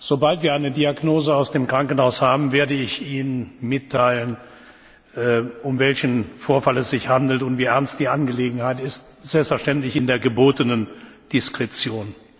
Sobald wir eine Diagnose aus dem Krankenhaus haben, werde ich Ihnen mitteilen, um welchen Vorfall es sich handelt und wie ernst die Angelegenheit ist, selbstverständlich in der gebotenen Diskretion.